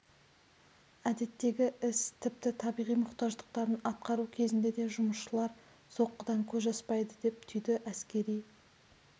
әдеттегі іс тіпті табиғи мұқтаждықтарын атқару кезінде де жұмысшылар соққыдан көз ашпайды деп түйді әскери